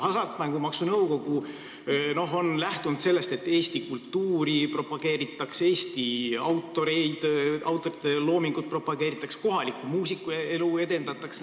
Hasartmängumaksu Nõukogu on lähtunud sellest, et eesti kultuuri propageeritakse, Eesti autorite loomingut propageeritakse, näiteks kohalikku muusikaelu edendatakse.